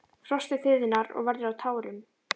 Frostið þiðnar og verður að tárum.